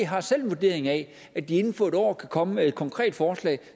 har selv en vurdering af at de inden for et år kan komme med et konkret forslag